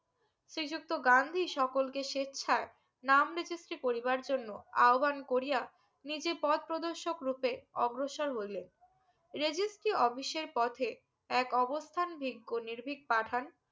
শ্রী যুক্ত গান্ধী সকলকে সেচ্ছায় নাম registry করিবার জন্য আহ্বান করিয়া নিজে পথ প্রদর্শক রুপে অগ্রসর হইলে registry office এর পথে এক অবস্থান ভিগো নির্ভিগ পাঠান